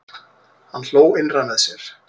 Hann hló innra með sér.